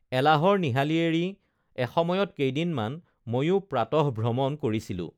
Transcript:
এলাহৰ নিহালি এৰি এসময়ত কেইদিনমান ময়ো প্ৰাতঃভ্ৰমণ কৰিছিলোঁ